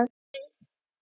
Örn!